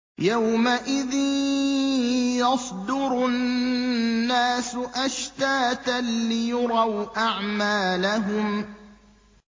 يَوْمَئِذٍ يَصْدُرُ النَّاسُ أَشْتَاتًا لِّيُرَوْا أَعْمَالَهُمْ